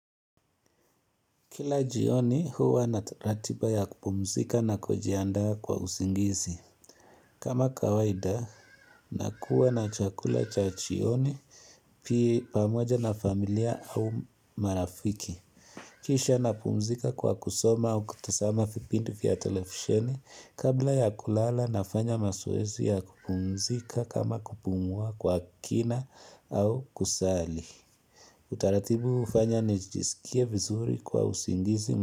Kila jioni huwa na ratiba ya kupumzika na kujiandaa kwa usingizi. Kama kawaida, nakuwa na chakula cha jioni, pia pamoja na familia au marafiki. Kisha napumzika kwa kusoma au kutazama vipindi vya televisheni, kabla ya kulala nafanya mazoezi ya kupumzika kama kupumua kwa kina au kusali. Utaratibu hufanya nijisikie vizuri kwa usingizi.